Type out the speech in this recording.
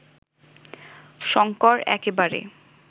শঙ্কর একেবারে